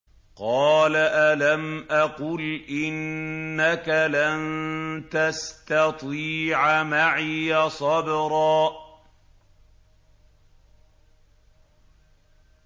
قَالَ أَلَمْ أَقُلْ إِنَّكَ لَن تَسْتَطِيعَ مَعِيَ صَبْرًا